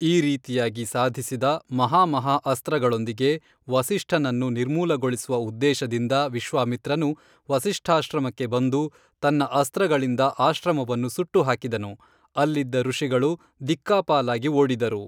ಈ ರೀತಿಯಾಗಿ ಸಾಧಿಸಿದ ಮಹಾಮಹಾ ಅಸ್ತ್ರಗಳೊಂದಿಗೆ ವಸಿಷ್ಠನನ್ನು ನಿರ್ಮೂಲಗೊಳಿಸುವ ಉದ್ದೇಶದಿಂದ ವಿಶ್ವಾಮಿತ್ರನು ವಸಿಷ್ಠಾಶ್ರಮಕ್ಕೆ ಬಂದು ತನ್ನ ಅಸ್ತ್ರಗಳಿಂದ ಆಶ್ರಮವನ್ನು ಸುಟ್ಟುಹಾಕಿದನು ಅಲ್ಲಿದ್ದ ಋಷಿಗಳು ದಿಕ್ಕಾಪಾಲಾಗಿ ಓಡಿದರು